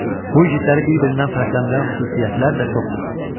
Bu igidləri bir-birindən fərqləndirən xüsusiyyətlər də çoxdur.